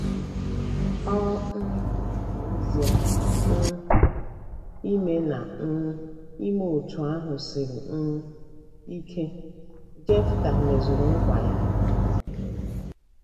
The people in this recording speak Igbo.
Ọ um bụ ezie na um ime na um ime otú ahụ siri um ike, Jefta mezuru nkwa ya.